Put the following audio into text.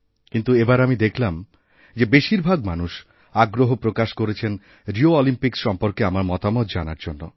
কিন্তু এবারআমি দেখলাম যে বেশিরভাগ মানুষ আগ্রহ প্রকাশ করেছেন রিও অলিম্পিকস্ সম্পর্কে আমারমতামত জানার জন্য